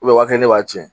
u b'a kɛ ne b'a ci